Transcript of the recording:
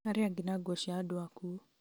arĩa angĩ na nguo cia andũ akuũ